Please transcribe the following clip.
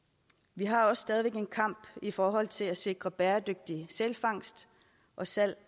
vi har også stadig væk en kamp i forhold til at sikre bæredygtig sælfangst og salg